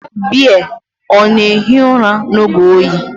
Bea na-ehi ụra n’oge oyi?